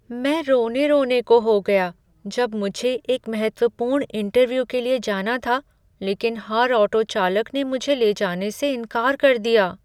मैं रोने रोने को हो गया जब मुझे एक महत्वपूर्ण इंटर्व्यू के लिए जाना था लेकिन हर ऑटो चालक ने मुझे ले जाने से इनकार कर दिया।